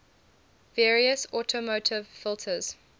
various automotive filters